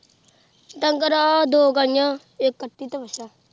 ਡੰਗਰ ਆ ਦੋ ਗਾਈਆਂ ਇੱਕ ਕੱਟੀ ਤੇ ਵੱਛਾ।